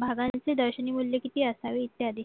भागांचे दर्शनीमूल्य किती असावे इत्यादी